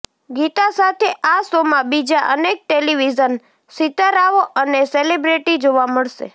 ગીતા સાથે આ શોમાં બીજા અનેક ટેલિવિઝન સિતારાઓ અને સેલિબ્રિટી જોવા મળશે